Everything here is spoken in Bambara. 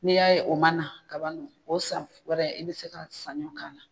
N'i y'a ye o ma na ka o san wɛrɛ i bɛ se ka sanɲɔ kana na